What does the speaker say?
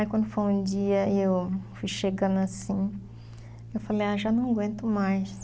Aí quando foi um dia, eu fui chegando assim, eu falei, ah, já não aguento mais.